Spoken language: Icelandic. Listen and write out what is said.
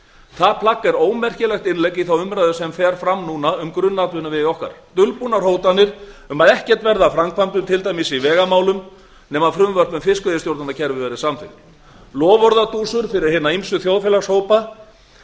það plagg er ómerkilegt innlegg í þá umræðu sem nú fer fram um grunnatvinnuvegi okkar dulbúnar hótanir um að ekkert verði til dæmis af framkvæmdum í vegamálum nema frumvörp um fiskveiðistjórnarkerfi verði samþykkt loforðadúsur fyrir hina ýmsu þjóðfélagshópa